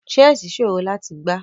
Chessi sọrọ lati gbà.